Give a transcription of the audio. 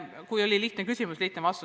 Kui on lihtne küsimus, on ka lihtne vastus.